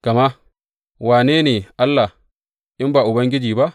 Gama wane ne Allah, in ba Ubangiji ba?